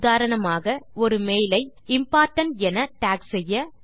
உதாரணமாக ஒரு மெயில் ஐ இம்போர்டன்ட் என டாக் செய்ய